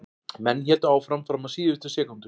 Menn héldu áfram fram á síðustu sekúndu.